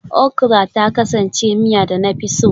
Okra ta kasance miya da na fi so